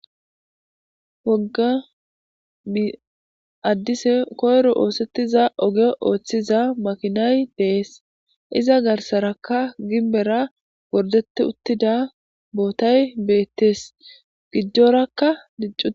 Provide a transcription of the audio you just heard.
wogga i addise koyro oosettiza oge ooththiza makinay dees iza garsarakka gimbera wordete uttida bootay beettes giddorakka diccu